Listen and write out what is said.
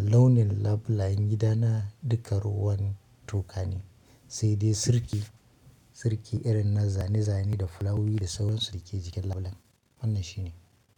launin labulayen gidana dukka ruwan toka ne, sai dai sirki, sirki irin na zane zane da fulawi da sawansu da ke jikin labule. Wannan shi ne.